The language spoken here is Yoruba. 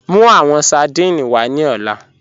Mú awọn sardine wà ní ọlá